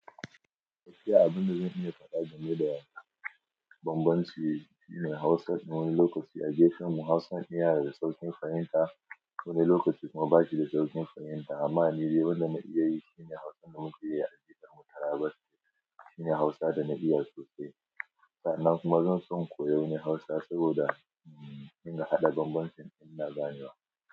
Gaskiya abin da zan iya faɗa game da banbanci shine Hausa wani lokaci a gefeman mu Hausan iya da sauƙin fahimta wani lokaci kuma ba shi da sauƙin fahimta amma ni dai wanda na iya yi shine Hausan da muke yi a jiha'n mu Taraba shine Hausa da na iya sosai. Sannan kuma zan so in koyo wani Hausa saboda in haɗa banbancin inda zan na ganewa.